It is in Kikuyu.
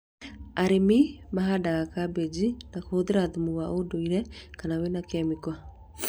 Arĩmi mahandaga kambĩji na kũhũthĩra thumu wa ũndũire kana wĩna kemiko